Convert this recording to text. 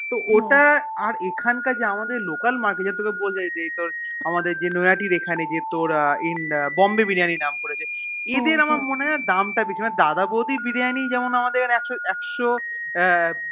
তো ওটা আর আমাদের এই Local market এর তোকে যেটা বছিলাম যে নৈহাটির এখন যে তোর Bombay biryani নাম করেছে এদের আমার মনেহয় দাম তা বেশি দাদা বৌদির বিরিয়ানি যেমন আমাদের একশো